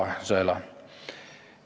Palun, kolm minutit lisaaega!